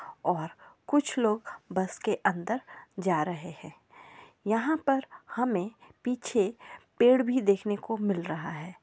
और कुछ लोग बस के अंदर जा रहे हैं यहाँ पर हमें पीछे पेड़ भी देखने को मिल रहा है।